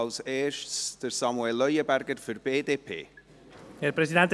Zuerst: Samuel Leuenberger für die BDP.